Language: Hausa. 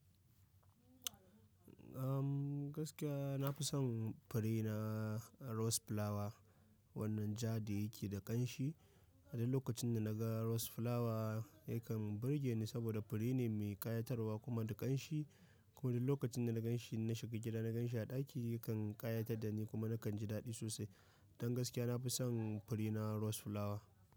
Gaskiya nafi son fure na rose flower wannan ja da yake da ƙanshi. Wani lokacin da naga rose flower yakan burge ni saboda fure ne mai ƙayatarwa kuma da ƙanshi. Ko wani lokacin da na ganshi na shiga gida na ganshi a ɗaki kan ƙayatar da ni kuma nakan ji daɗi sosai. Don gaskiya nafi son fure na rose flower.